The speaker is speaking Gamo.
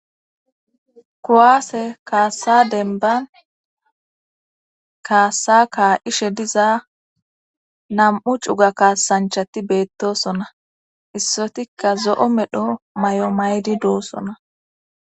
kowaase kaassa denban kaassa ka ishe diza nam7u cuga kaasanchati beettosona issotikka zo7o medho may7o maydi doosona